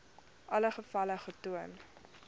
alle gevalle getoon